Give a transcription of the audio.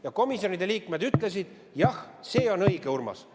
Ja komisjonide liikmed ütlesid, et jah, see on õige, Urmas.